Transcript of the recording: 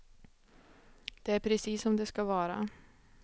Det är precis som det ska vara.